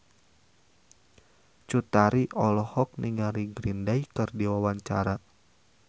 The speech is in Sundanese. Cut Tari olohok ningali Green Day keur diwawancara